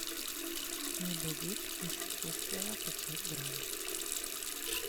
медовик из вкусвилла пятьсот грамм